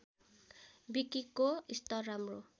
विकिको स्तर राम्रो